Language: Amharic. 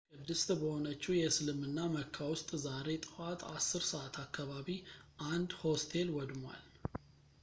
ቅድስት በሆነችው የእስልምና መካ ውስጥ ዛሬ ጠዋት 10 ሰዓት አካባቢ አንድ ሆስቴል ወድሟል